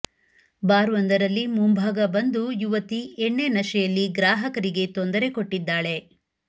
ಬಾರ್ವೊಂದರಲ್ಲಿ ಮುಂಭಾಗ ಬಂದು ಯುವತಿ ಎಣ್ಣೆ ನಶೆಯಲ್ಲಿ ಗ್ರಾಹಕರಿಗೆ ತೊಂದರೆ ಕೊಟ್ಟಿದ್ದಾಳೆ